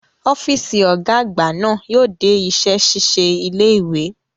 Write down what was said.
Ọ́fíìsì Ọ̀gá àgbà náà yóò dé iṣẹ́ ṣíṣe ilé ìwé